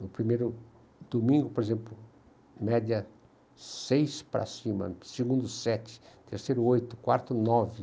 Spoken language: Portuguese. No primeiro domingo, por exemplo, média seis para cima, segundo sete, terceiro oito, quarto nove.